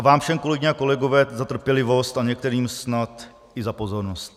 A vám všem, kolegyně a kolegové, za trpělivost a některým snad i za pozornost.